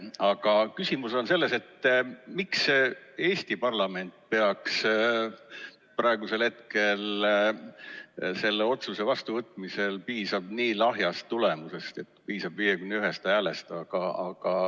Aga küsimus on selles, miks Eesti parlamendil praegu selle otsuse vastuvõtmisel piisab nii lahjast tulemusest nagu 51 poolthäält.